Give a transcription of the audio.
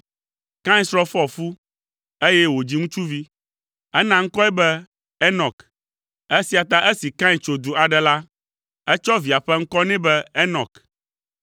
Kain srɔ̃ fɔ fu, eye wòdzi ŋutsuvi. Ena ŋkɔe be Enɔk. Esia ta esi Kain tso du aɖe la, etsɔ via ƒe ŋkɔ nɛ be Enɔk.